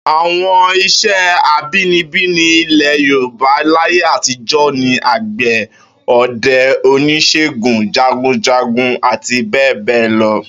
Àwo̩n is̩é̩ abínibí ní ilè̩ Yorùbá láyé àtijó̩ ni àgbè̩, o̩de̩, onís̩ègùn, jagunjagun àti bé̩è̩ bé̩è̩ lo̩